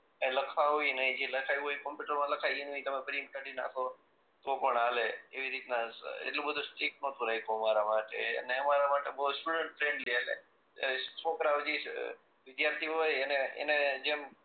કાંઈ લખાવે નહી જે લખાવ્યુ ઈ કોમ્પ્યુટર માં લખાવ્યું હોય એનું ઈ પ્રિન્ટ કાઢી નાખો તો પણ હાલે એવીરીત ના એટલું બધું સ્ટ્રીક નતું રાખ્યું અમારા માટે અને અમારા માટે છોકરાઓ જે એક્ટીવ હોય એને એને જેમ